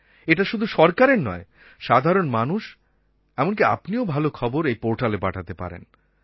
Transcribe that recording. এটা শুধু সরকারের নয় সাধারণ মানুষ এমনকী আপনিও কোনো ভালো খবর এই পোর্টালে পাঠাতে পারেন